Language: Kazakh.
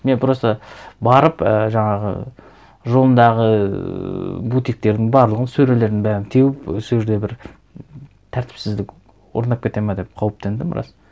мен просто барып і жаңағы жолындағы ыыы бутиктердің барлығын сөрелердің барын теуіп сол жерде бір тәртіпсіздік орнап кетеді ме деп қауіптендім рас